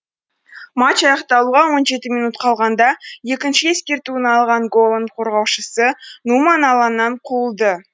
матч аяқталуға он жеті минут қалғанда екінші ескертуін алған голланд қорғаушысы нуман алаңнан қуылды